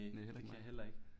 Næ heller ikke mig